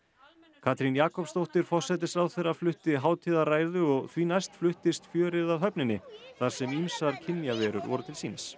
Katrín Jakobsdóttir forsætisráðherra flutti hátíðarræðu og því næst fluttist fjörið að höfninni þar sem ýmsar kynjaverur voru til sýnis